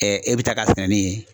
e bɛ taa ka sɛnɛ ni